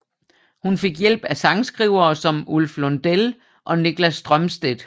Hun fik hjælp af sangskrivere som Ulf Lundell og Niklas Strömstedt